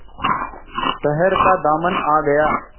शहर का दामन आ गया